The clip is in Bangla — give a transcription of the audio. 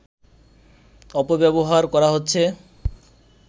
অপব্যবহার করা হচ্ছে